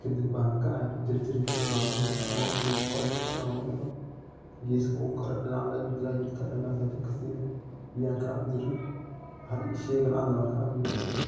,kadib bangad ayan ku jarjarii jire ,bangada markan qolofta oo dhan oga digo gesko waxa jirtaa ladahaye uu kare ,kaasa jag kasine biyahan kacabi jirne .